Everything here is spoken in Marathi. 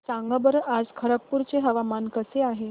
सांगा बरं आज खरगपूर चे हवामान कसे आहे